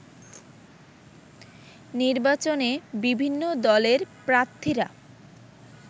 নির্বাচনে বিভিন্ন দলের প্রার্থীরা